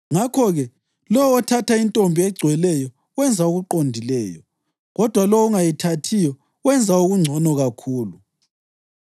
Ngakho-ke, lowo othatha intombi egcweleyo wenza okuqondileyo, kodwa lowo ongayithathiyo wenza okungcono kakhulu.